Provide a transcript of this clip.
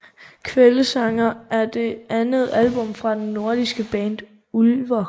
Kveldssanger er det andet album fra det norske band Ulver